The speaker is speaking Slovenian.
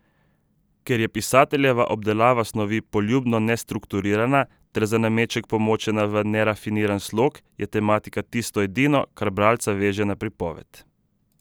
Ker je pisateljeva obdelava snovi poljubno nestrukturirana ter za nameček pomočena v nerafiniran slog, je tematika tisto edino, kar bralca veže na pripoved.